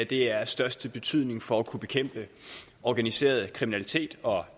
det er af største betydning for at kunne bekæmpe organiseret kriminalitet og